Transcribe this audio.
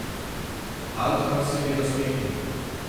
Altman se je nasmehnil.